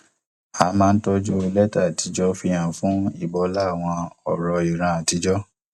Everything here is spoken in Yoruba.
a máa ń tọjú lẹtà àtijọ fi hàn fún ìbọlá àwọn ọrọ ìran àtijọ